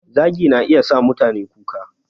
Zagi na iya sa mutane kuka